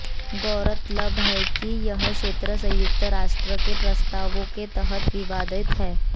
गौरतलब है कि यह क्षेत्र संयुक्त राष्ट्र के प्रस्तावों के तहत विवादित है